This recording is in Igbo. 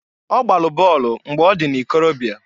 Ọ gbalụ bọolụ mgbe ọ dị n'ikorobịa.